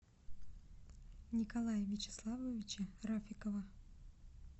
николая вячеславовича рафикова